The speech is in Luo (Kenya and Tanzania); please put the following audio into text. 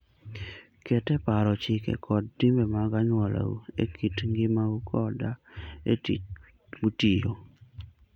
Ket e paro chike koda timbe mag anyuolau e kit ngimau koda e tich mutiyo.